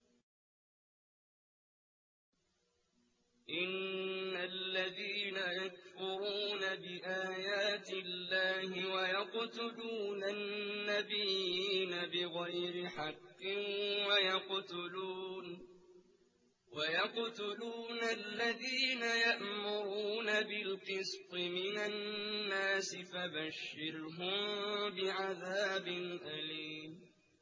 إِنَّ الَّذِينَ يَكْفُرُونَ بِآيَاتِ اللَّهِ وَيَقْتُلُونَ النَّبِيِّينَ بِغَيْرِ حَقٍّ وَيَقْتُلُونَ الَّذِينَ يَأْمُرُونَ بِالْقِسْطِ مِنَ النَّاسِ فَبَشِّرْهُم بِعَذَابٍ أَلِيمٍ